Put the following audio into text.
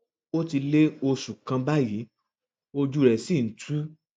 ó ti lé oṣù kan báyìí ojú rẹ sì ń tú